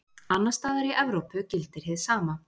Annars staðar í Evrópu gildir hið sama.